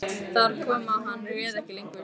Þar kom að hann réð ekki lengur við stöðuna.